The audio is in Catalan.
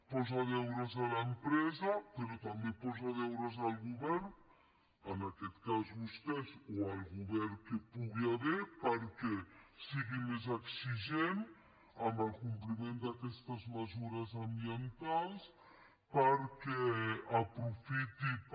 posa deures a l’empresa però també posa deures al govern en aquest cas vostès o el govern que hi pugui haver perquè sigui més exigent amb el compliment d’aquestes mesures ambientals perquè aprofiti per